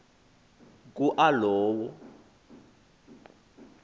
ku a lowo